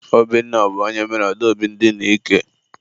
Obinna bụ onye mere Adaobi ndina ike.